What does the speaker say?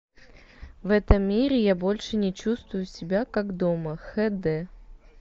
в этом мире я больше не чувствую себя как дома хэ дэ